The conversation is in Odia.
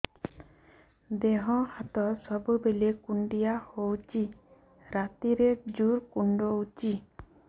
ଦେହ ହାତ ସବୁବେଳେ କୁଣ୍ଡିଆ ହଉଚି ରାତିରେ ଜୁର୍ କୁଣ୍ଡଉଚି